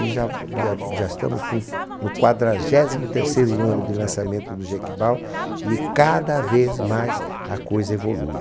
E já já, já estamos com, no quadragésimo terceiro ano de lançamento do Jequibal e cada vez mais a coisa evolui.